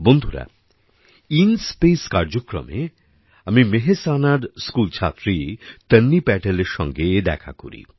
বন্ধুরা IN space কার্যক্রমে আমি মেহসানার স্কুল ছাত্রী তন্বী প্যাটেলের সাথে দেখা করি